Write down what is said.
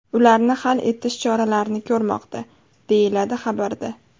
Ularni hal etish choralarini ko‘rmoqda”, deyiladi xabarda.